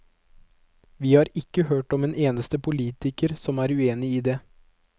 Vi har ikke hørt om en eneste politiker som er uenig i det.